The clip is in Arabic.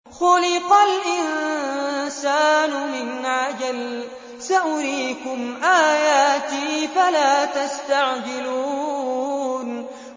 خُلِقَ الْإِنسَانُ مِنْ عَجَلٍ ۚ سَأُرِيكُمْ آيَاتِي فَلَا تَسْتَعْجِلُونِ